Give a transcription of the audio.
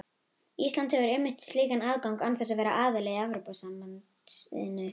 Ísland hefur einmitt slíkan aðgang án þess að vera aðili að Evrópusambandinu.